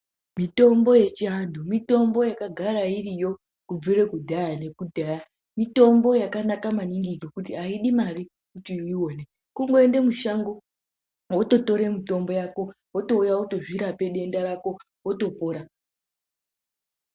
Mitombo yechianhu mitombo yakagara iriyo kubvire kudhaya nekudhaya. Mitombo yakanaka maningi ngekuti haidi mare kuti uione kungoende mushango wototore mitombo yako wotouya wotozvirape denda rako wotopona.